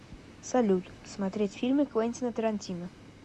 салют смотреть фильмы квентина торантино